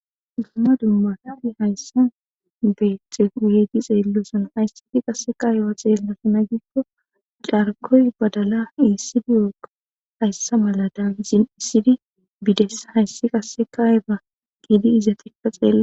Dumma dummafati hayssa beexe uyeedi xeellosan haysseti qasse kayiba xeellosana giikko carkoy badala iisidiyoqa hayssa malada hizin iisidi bidessa hayssi qasse kayeba giidi izatikka xeela